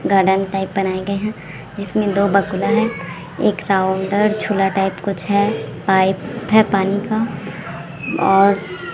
garden type बनाए गए हैं जिसमें दो बकुला हैं एक राउंडर झोला टाइप कुछ है पाइप है पानी का और--